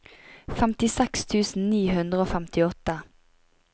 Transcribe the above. femtiseks tusen ni hundre og femtiåtte